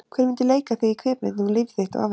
Hver myndi leika þig í kvikmynd um líf þitt og afrek?